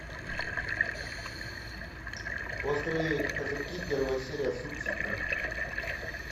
острые козырьки первая серия субтитры